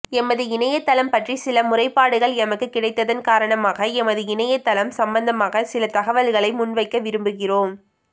எமது இணையத்தளம் பற்றி சில முறைப்பாடுகள் எமக்கு கிடைத்ததன் காரணமாக எமது இணையத்தளம் சம்பந்தமாக சில தகவல்களை முன்வைக்க விரும்புகிறோம்